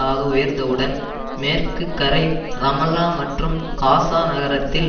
ஆக உயர்ந்தவுடன் மேற்கு கரை ரமல்லா மற்றும் காசா நகரத்தில்